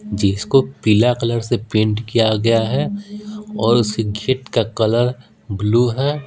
जिसको पीला कलर से पेंट किया गया है और उसके गेट का कलर ब्लू है।